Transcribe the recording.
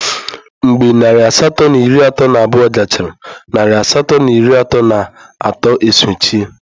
Mgbe narị asatọ na iri atọ na abụọ gachara, narị asatọ na iri atọ na atọ e sochie.